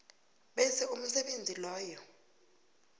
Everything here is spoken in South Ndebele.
bese umsebenzi loyo